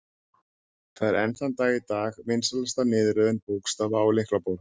Það er enn þann dag í dag vinsælasta niðurröðun bókstafa á lyklaborð.